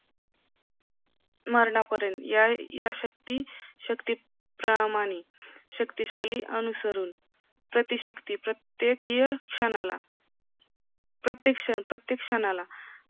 मरनापर्यंत यथाशक्ती शक्तीप्रमाणे शक्तिशाली अनुसरून प्रतिशक्ती प्रत्येक क्षणाला प्रत्येक क्षण प्रत्येक क्षणाला